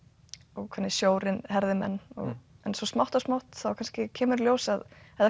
og hvernig sjórinn herðir menn en smátt og smátt kemur í ljós að þetta